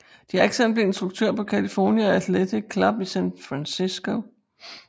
Jackson blev instruktør på California Athletic Club i San Francisco